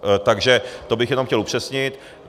Takže to bych jenom chtěl upřesnit.